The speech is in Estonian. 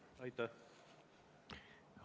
Aitäh!